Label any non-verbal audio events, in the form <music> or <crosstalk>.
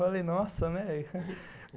Falei, nossa, né? <laughs>